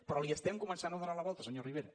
però li estem començant a donar la volta senyor rivera